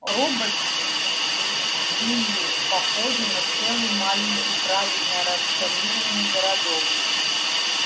роботс были похожи на целый маленький правильно распланированный городок